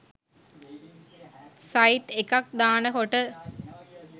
site එකක් දාන කොට